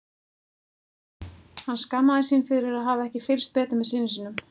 Hann skammaðist sín fyrir að hafa ekki fylgst betur með syni sínum.